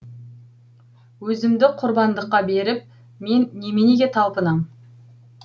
өзімді құрбандыққа беріп мен неменеге талпынам